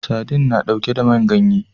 Sadin na ɗauke da man ganye